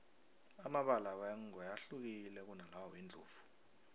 amabala wengwe ahlukile kunalawa wendlovu